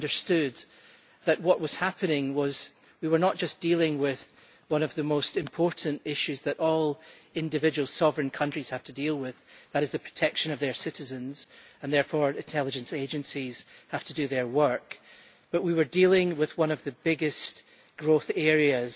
they understood that what was happening was that we were not just dealing with one of the most important issues that all individual sovereign countries have to deal with that is the protection of their citizens, and therefore intelligence agencies have to do their work but we were dealing with one of the biggest growth areas